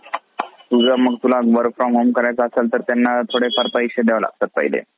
किंवा काटकसरीने उपयोग होऊ शकतो. जमिनीची उत्पादन क्षमता टिकवण्याच्या किंवा वाढवण्याच्या बाबतीत~ बाबतीतही तिची मदत होते